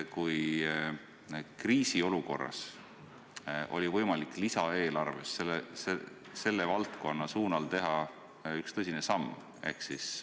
Kriisiolukorras oli võimalik lisaeelarves selles valdkonnas astuda üks tõsine samm.